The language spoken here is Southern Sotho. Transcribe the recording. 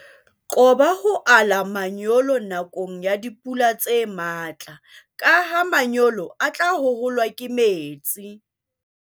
Qoba ho ala manyolo nakong ya dipula tse matla ka ha manyolo a tla hoholwa ke metsi.